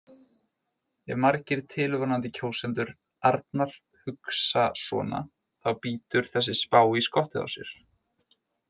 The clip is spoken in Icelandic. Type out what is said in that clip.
Ef margir tilvonandi kjósendur Arnar hugsa svona þá bítur þessi spá í skottið á sér.